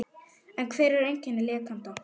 En hver eru einkenni lekanda?